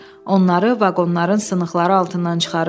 Onları vaqonların sınıqları altından çıxarırdılar.